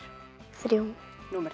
þriðja númer